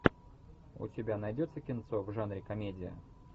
у тебя найдется кинцо в жанре комедия